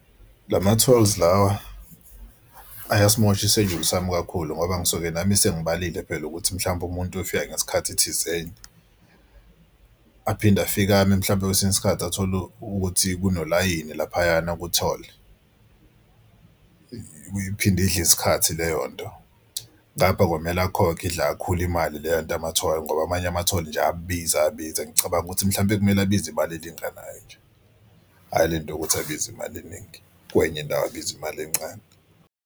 La ma-tolls lawa ayasimosha isejuli sami kakhulu ngoba ngisuke nami sengibhalile phela ukuthi mhlawumbe umuntu uyofika ngesikhathi thizeni. Aphinde afike ame mhlawumbe kwesinye isikhathi athole ukuthi kunolayini laphayana kutholi, iphinde idle isikhathi leyo nto. Ngapha kwamele akhokhe idle akhule imali leyo nto yamatholi ngoba amanye amatholi nje ayabiza ayabiza. Ngicabanga ukuthi mhlawumbe kumele abize imali elinganayo nje hhayi le nto yokuthi abize imali eningi kwenye indawo abiza imali encane.